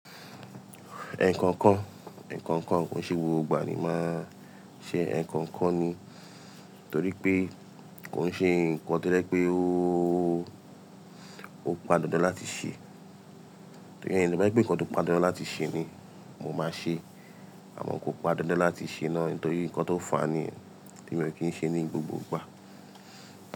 Ẹkọ̀ǹkọ̀n, ẹkọ̀ǹkọ̀n kò ṣe gbogbo ìgbà ni máa ṣe ẹkọ̀ǹkọ̀n ni, torí pé kò ń ṣe ǹkan to jepé ó, ó padà dáńdan la ti ṣe. Torí ẹ ni bá gbà pé ǹkan tó padà dáńlá ti ṣe ni mo máa ṣe, àmọ́ kò padà dáńlá ti ṣe náà torí ǹkan tó fà á ni tí mo kí ń ṣe ní gbogbo ìgbà.